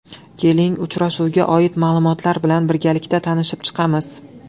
Keling uchrashuvga oid ma’lumotlar bilan birgalikda tanishib chiqamiz.